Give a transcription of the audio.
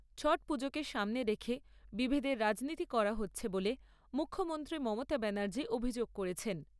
ছট পুজোকে সামনে রেখে বিভেদের রাজনীতি করা হচ্ছে বলে মুখ্যমন্ত্রী মমতা ব্যানার্জি অভিযোগ করেছেন।